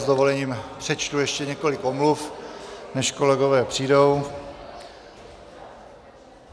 S dovolením přečtu ještě několik omluv, než kolegové přijdou.